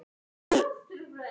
Ísbirnir á sundi.